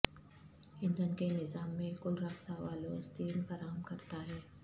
ایندھن کے نظام میں کل راستہ والوز تین فراہم کرتا ہے